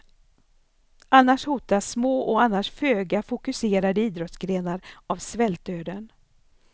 Annars hotas små och annars föga fokuserade idrottsgrenar av svältdöden.